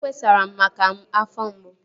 O kpesara m maka afọ mgbu